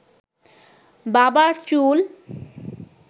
বাবার চুল